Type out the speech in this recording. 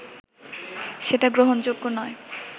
সেটা গ্রহণযোগ্য নয়